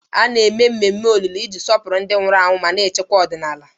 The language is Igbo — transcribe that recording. A na-eme ememe olili iji sọpụrụ ndị nwụrụ anwụ mana echekwa ọdịnala.